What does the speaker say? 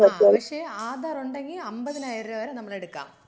ആ പക്ഷേ ആധാർ ഉണ്ടെങ്കിൽ നമുക്ക് അമ്പതിനായിരം രൂപ വരെ എടുക്കാം.